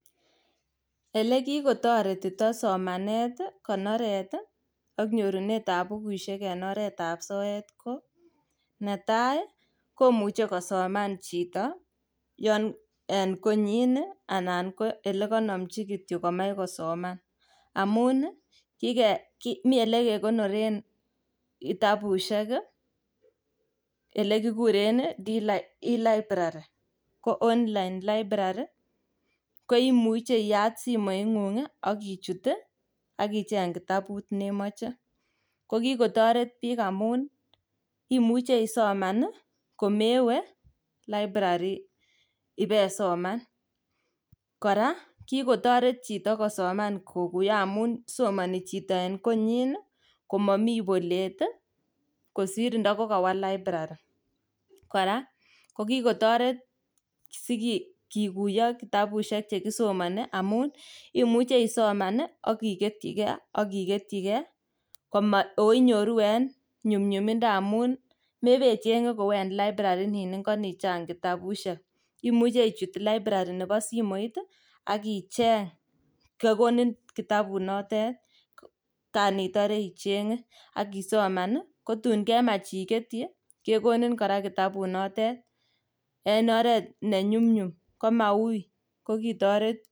Ele kikotaretitoi somanet ak nyorunet ab bukuisheek eng somanet ii netai ii komuchei kosomaan chitoo yaan eng konyiin ii anan ko ole kanamjii kityo komaach kosomaan amuun ii like Mii ole kekonoren kitabusiek ole kiguren ii [e library] ko [online library] komuchei iyaat simoit nguung ii akochuut akicheng kitabuut ne machei ko kikotaret biik ngamuun imuchei isomaan ii komewe[library] ibesoman kora kikotaret chitoo kosomaan amuun somani chitoo eng konyiin ii komamii boleet ii kosiir nda kakawaah [library] kora kikotaret sigikuyaa kitabusiek chekisomani amuun imuuchei akiketyi gei akiketyi kei koma oo inyooruu eng nyumnyumindaa amuun mebee chengeek kou en library niin ingo niin chaang kitabusiek imuuchei ichuut[Library] nebo simoit ii akicheeng kogonin kitabuut notet kaan itare icheenge akosomaan ko tuun kemaach iketyii kegonin kora kitabuut not et en oret ne nyumnyum koma wui ko kotoret.